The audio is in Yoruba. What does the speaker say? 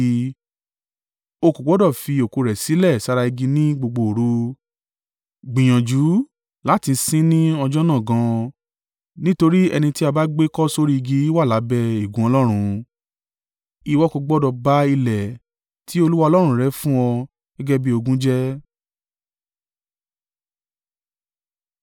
o kò gbọdọ̀ fi òkú rẹ̀ sílẹ̀ sára igi ní gbogbo òru. Gbìyànjú láti sin ín ní ọjọ́ náà gan an, nítorí ẹni tí a bá gbé kọ́ sórí igi wà lábẹ́ ègún Ọlọ́run. Ìwọ kò gbọdọ̀ ba ilẹ̀ tí Olúwa Ọlọ́run rẹ fún ọ gẹ́gẹ́ bí ogún jẹ́.